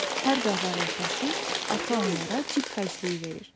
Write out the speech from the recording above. Hər bazar ertəsi ata onlara cib xərcliyi verir.